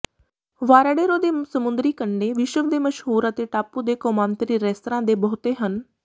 Varadero ਦੇ ਸਮੁੰਦਰੀ ਕੰਢੇ ਵਿਸ਼ਵ ਦੇ ਮਸ਼ਹੂਰ ਅਤੇ ਟਾਪੂ ਦੇ ਕੌਮਾਂਤਰੀ ਰੈਸਤਰਾਂ ਦੇ ਬਹੁਤੇ ਹਨ